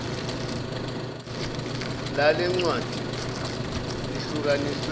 lale ncwadi lihlukaniswe